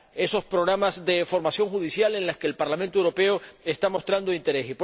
esos programas de formación judicial en los que el Parlamento Europeo está mostrando interés.